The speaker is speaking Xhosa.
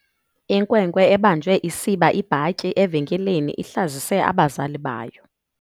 Inkwenkwe ebanjwe isiba ibhatyi evenkileni ihlazise abazali bayo.